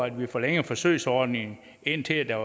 at vi forlænger forsøgsordningen indtil der